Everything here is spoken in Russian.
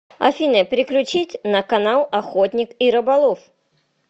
афина переключить на канал охотник и рыболов